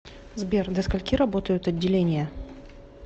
сбер до скольки работают отделения